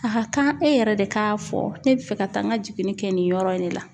A ka kan e yɛrɛ de k'a fɔ ne bɛ fɛ ka taa n ka jiginni kɛ nin yɔrɔ in de la.